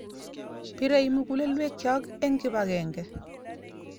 Pirei mugulelwekyok eng kipakenge